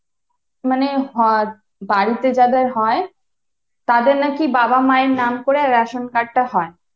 মানে হয় বাড়িতে যাদের হয় তাদের নাকি বাবা মায়ের নাম করে ration card টা হয়।